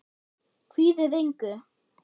Kvíðið engu!